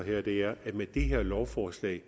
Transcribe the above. at det her lovforslag